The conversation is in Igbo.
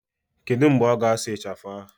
Kedu mgbe ọ ga-asụ ịchafụ ahụ?